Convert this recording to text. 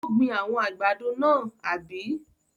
Ó gbin àwọn àgbàdo náà, àbí?